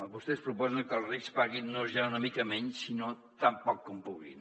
vostès proposen que els rics paguin no ja una mica menys sinó tan poc com puguin